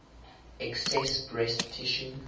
excess breast tissue